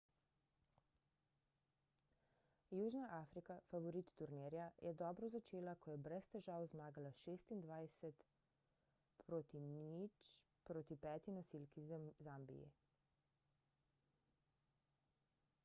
južna afrika favorit turnirja je dobro začela ko je brez težav zmagala 26:00 proti peti nosilki zambiji